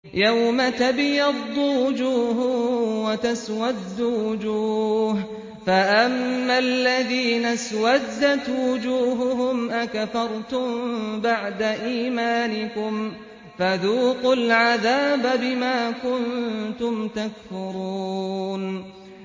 يَوْمَ تَبْيَضُّ وُجُوهٌ وَتَسْوَدُّ وُجُوهٌ ۚ فَأَمَّا الَّذِينَ اسْوَدَّتْ وُجُوهُهُمْ أَكَفَرْتُم بَعْدَ إِيمَانِكُمْ فَذُوقُوا الْعَذَابَ بِمَا كُنتُمْ تَكْفُرُونَ